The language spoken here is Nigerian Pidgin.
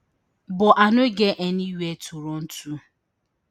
but i no get any wia to run to